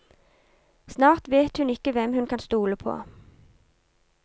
Snart vet hun ikke hvem hun kan stole på.